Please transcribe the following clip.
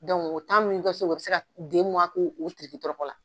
o min bi kɛ so u bi se ka k'o tirikitɔrɔkɔ la.